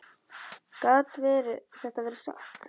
Gat þetta verið satt?